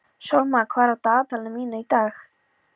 Sólmar, hvað er á dagatalinu mínu í dag?